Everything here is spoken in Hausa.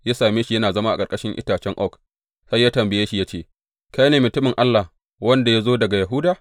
Ya same shi yana zama a ƙarƙashin itace oak, sai ya tambaye shi ya ce, Kai ne mutumin Allah wanda ya zo daga Yahuda?